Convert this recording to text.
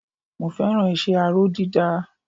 Mo fẹ́ràn iṣẹ́ aró dídá